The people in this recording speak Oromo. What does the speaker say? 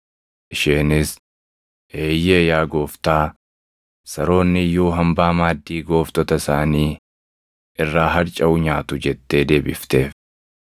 Isheenis, “Eeyyee yaa Gooftaa, saroonni iyyuu hambaa maaddii gooftota isaanii irraa harcaʼu nyaatu” jettee deebifteef.